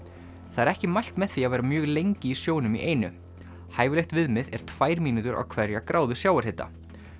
það er ekki mælt með því að vera mjög lengi í sjónum í einu hæfilegt viðmið er tvær mínútur á hverja gráðu sjávarhita